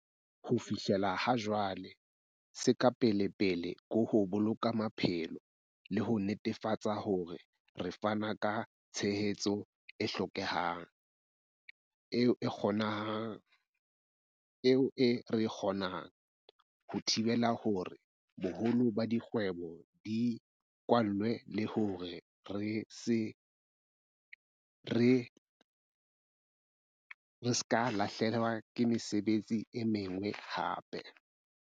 Ho fihlela ha jwale, se ka pelepele ke ho boloka maphelo, le ho netefatsa hore re fana ka tshehetso e hlokehang, eo re e kgonang, ho thibela hore boholo ba dikgwebo di kwalwe le hore ha re lahlehelwe ke mesebetsi e meng hape.